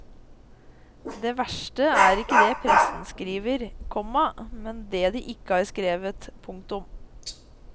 Det verste er ikke det pressen skriver, komma men det de ikke har skrevet. punktum